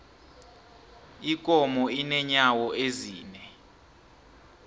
ikomo inenyawo ezine